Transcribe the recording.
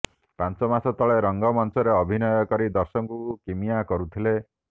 ପାଞ୍ଚ ମାସ ତଳେ ରଙ୍ଗମଞ୍ଚରେ ଅଭିନୟ କରି ଦର୍ଶକଙ୍କୁ କିମିଆଁ କରୁଥିଲେ